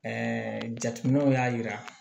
Ɛɛ jateminɛw y'a yira